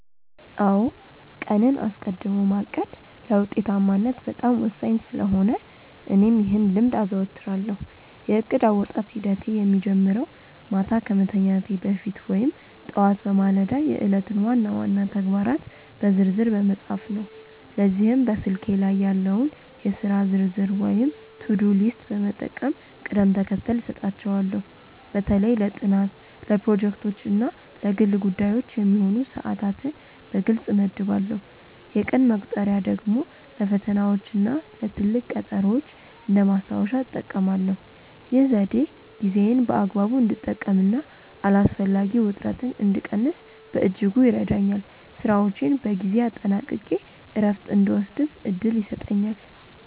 አዎ ቀንን አስቀድሞ ማቀድ ለውጤታማነት በጣም ወሳኝ ስለሆነ እኔም ይህን ልምድ አዘወትራለሁ። የእቅድ አወጣጥ ሂደቴ የሚጀምረው ማታ ከመተኛቴ በፊት ወይም ጠዋት በማለዳ የዕለቱን ዋና ዋና ተግባራት በዝርዝር በመጻፍ ነው። ለዚህም በስልኬ ላይ ያለውን የሥራ ዝርዝር ወይም ቱዱ ሊስት በመጠቀም ቅደም ተከተል እሰጣቸዋለሁ። በተለይ ለጥናት፣ ለፕሮጀክቶች እና ለግል ጉዳዮች የሚሆኑ ሰዓታትን በግልጽ እመድባለሁ። የቀን መቁጠሪያ ደግሞ ለፈተናዎችና ለትልቅ ቀጠሮዎች እንደ ማስታወሻ እጠቀማለሁ። ይህ ዘዴ ጊዜዬን በአግባቡ እንድጠቀምና አላስፈላጊ ውጥረትን እንድቀንስ በእጅጉ ይረዳኛል። ስራዎቼን በጊዜ አጠናቅቄ እረፍት እንድወስድም እድል ይሰጠኛል።